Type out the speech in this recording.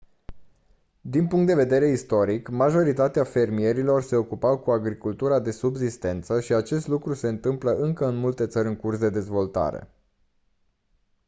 din punct de vedere istoric majoritatea fermierilor se ocupau cu agricultura de subzistență și acest lucru se întâmplă încă în multe țări în curs de dezvoltare